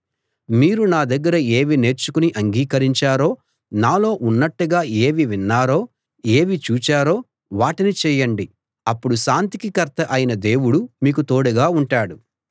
మీరు నా దగ్గర ఏవి నేర్చుకుని అంగీకరించారో నాలో ఉన్నట్టుగా ఏవి విన్నారో ఏవి చూచారో వాటిని చేయండి అప్పుడు శాంతికి కర్త అయిన దేవుడు మీకు తోడుగా ఉంటాడు